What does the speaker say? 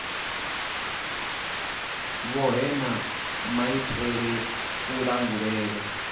vhohe na maitele a kulangulele